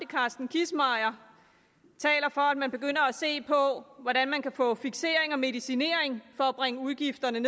carsten kissmeyer taler for at man begynder at se på hvordan man kan få fiksering og medicinering for at bringe udgifterne